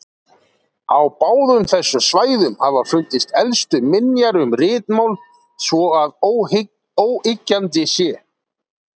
Á báðum þessum svæðum hafa fundist elstu minjar um ritmál svo að óyggjandi sé.